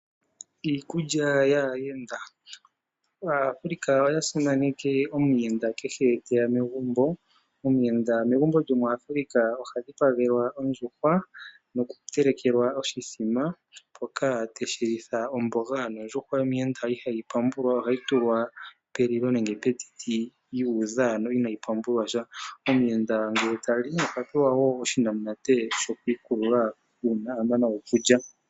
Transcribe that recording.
Iikulya yaayenda, Aafrika oyasimaneke omuyenda kehe teya megumbo. Omuyenda megumbo lyomuAfrika ohadhipagelwa ondjuhwa nohatelekelwa oshimbombo shoka teshilitha omboga. Ondjuhwa yomuyenda ihayi pambulwa ohayi tulwa pelilo nenge petiti yuudha inayi pambulwasha. Omuyenda ngele tali ohapewa wo oshinamunate shokwiikulula shampa amana okulua.